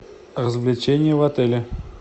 развлечения в отеле